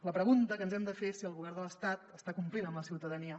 la pregunta que ens hem de fer és si el govern de l’estat està complint amb la ciutadania